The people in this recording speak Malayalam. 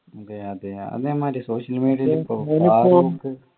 അതെ അതെ അതേമാതിരി social media യിൽ